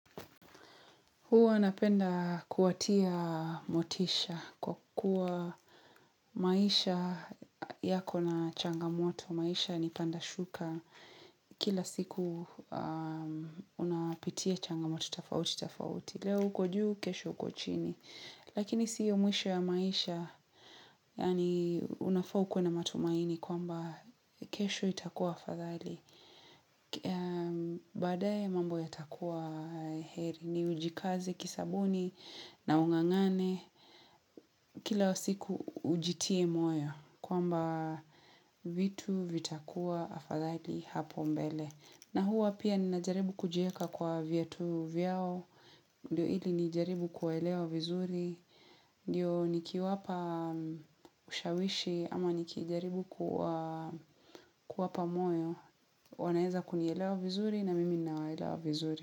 Huwa napenda kuwatia motisha kwa kuwa maisha yako na changamoto, maisha ni pandashuka kila siku unapitia changamoto, tafauti, tafauti. Leo huko juu, kesho huko chini. Lakini sio mwisho ya maisha, yaani unafaa ukue na matumaini kwamba kesho itakuwa afadhali. Baadae mambo yatakuwa heri, ni ujikaze, kisabuni, naungangane. Kila siku ujitie moyo, kwamba vitu vitakuwa afadhali hapo mbele. Na huwa pia ninajaribu kujieka kwa viatu vyao, ndio ili nijaribu kuwaelewa vizuri, ndio nikiwapa ushawishi ama nikijaribu kuwapa moyo, wanaeza kunielewa vizuri na mimi ninawelewa vizuri.